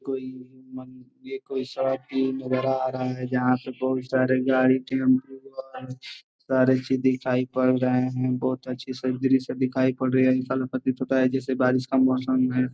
कोई ये कोई नजर आ रहा है जहाँ पे बोहोत सारी गाड़ी टेम्पो और सारी चीज दिखाई पड़ रहे है। बोहत अच्ची सी दृश्य दिखाई पड़ रही है। ऐसा प्रतीत होता है जैसे बारीश का मौसम है।